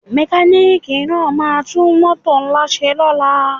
Mekaniki náà ma tún mótò ńlá ṣe lóla